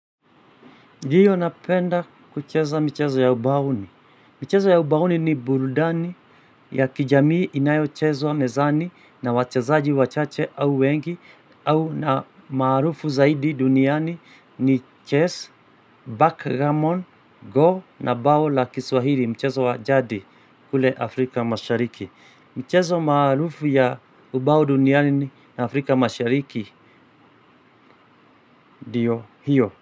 Hiyo napenda kucheza mchezo ya ubaoni. Mchezo ya ubaoni ni burudani ya kijamii inayo chezwa mezani na wachazaji wachache au wengi au na maarufu zaidi duniani ni chess backgamon, go na bao la Kiswahili mchezo wajadi kule Afrika mashariki. Mchezo maarufu ya ubao duniani na Afrika mashariki ndiyo hiyo.